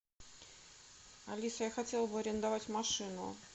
алиса я хотела бы арендовать машину